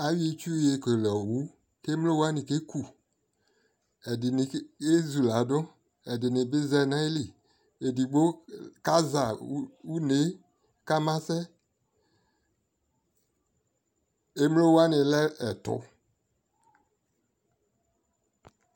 ayɔ itsʋ yɔ kɛlɛ ɔwʋ kʋ ɛmlɔ wani kɛ kʋ, ɛdini yɛ zʋ ladʋ, ɛdini bi zanʋ nʋ ayili, ɛdigbɔ kaza ɔnɛ kama sɛ, ɛmlɔ wani lɛ ɛtʋ